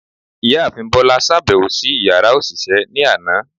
Ìyáàfín Bola ṣabẹwo si ìyára oṣiṣẹ ni aná